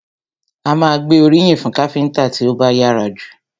A má a gbé oríyìn fún káfíńńtà tí ó bá yára jù.